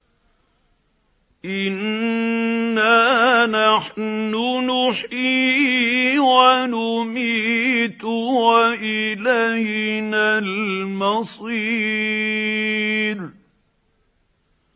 إِنَّا نَحْنُ نُحْيِي وَنُمِيتُ وَإِلَيْنَا الْمَصِيرُ